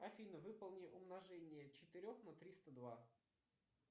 афина выполни умножение четырех на триста два